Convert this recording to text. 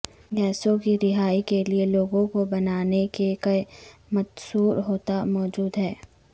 گیسوں کی رہائی کے لئے لوگوں کو بنانے کے کہ متصور ہوتا موجود ہیں